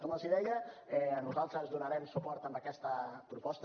com els deia nosaltres donarem suport a aquesta proposta